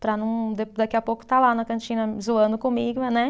Para não, da daqui a pouco, estar lá na cantina zoando comigo, né?